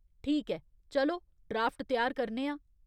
ठीक ऐ, चलो ड्राफ्ट त्यार करने आं।